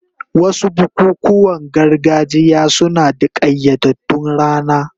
Wasu bukukuwan gargajiya suna da ƙayyadaddun rana.